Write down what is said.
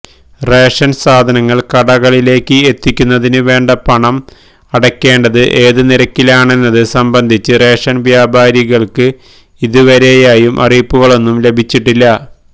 ration സാധനങ്ങള് കടകളിലേക്ക് എത്തിക്കുന്നതിന് വേണ്ട പണം അടയ്ക്കേണ്ടത് ഏത് നിരക്കിലാണെന്നത് സംബന്ധിച്ച് റേഷന് വ്യാപാരികള്ക്ക് ഇതുവരെയായും അറിയിപ്പുകളൊന്നും ലഭിച്ചിട്ടില്ല